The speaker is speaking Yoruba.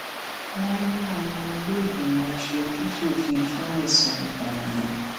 wọn mú ọmọ ìlèégbìmọ asojúsòfun fún ẹsùn ìpànìyàn